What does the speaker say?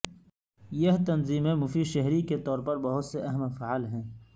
یہ تنظیمیں مفید شہری کے طور پر بہت سے اہم افعال ہیں